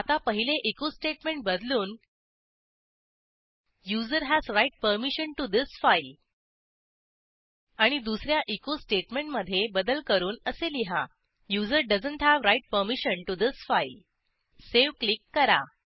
आता पहिले echo statement बदलून user has write permission to this file आणि दुस या एचो स्टेटमेंटमधे बदल करून असे लिहा user doesn't have write permission to this file save click करा